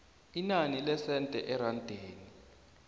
inani lesenthe erandini